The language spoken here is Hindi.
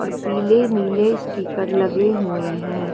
और पीले नील स्टीकर लगे हुए हैं।